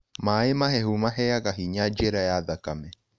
Maĩĩ mahehũ maheaga hinya njĩra ya thakame